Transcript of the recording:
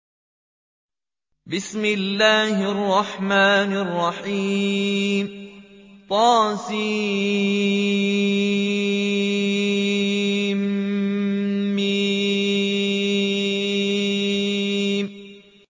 طسم